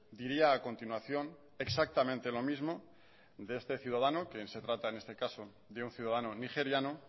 diría a continuación exactamente lo mismo de este ciudadano quien se trata en este caso de un ciudadano nigeriano